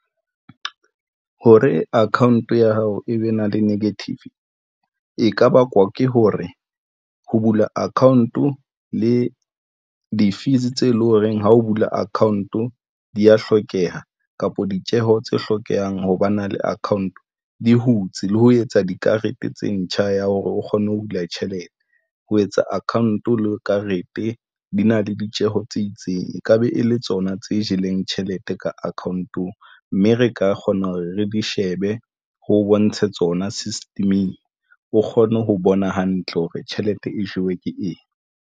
Hore account ya hao e be na le negative e ka bakwa ke hore ho bula account-o le di-fees tse leng horeng ha o bula account o di ya hlokeha kapo ditjeho tse hlokehang ho ba na le account di hutse le ho etsa dikarete tse ntjha ya hore o kgone ho hula tjhelete ho etsa account le karete di na le ditjeho tsa e itseng e ka be e le tsona tse jeleng tjhelete ka account ong mme re ka kgona hore re di shebe ho bontshe tsona system-eng o kgone ho bona hantle hore tjhelete e jewe ke eng.